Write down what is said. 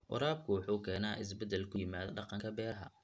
Waraabka wuxuu keenaa isbeddel ku yimaada dhaqanka beeraha.